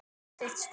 Sitt stolt.